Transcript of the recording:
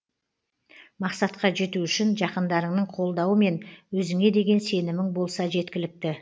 мақсатқа жету үшін жақындарыңның қолдауы мен өзіңе деген сенімің болса жеткілікті